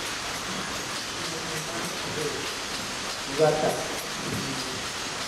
Sirni mar adek: Zakat (Chiwo).